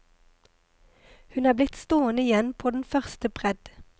Hun er blitt stående igjen på den første bredd.